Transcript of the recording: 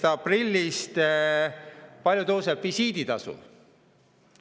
Kui palju tõuseb 1. aprillist visiiditasu?